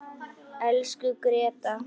Elsku Gréta.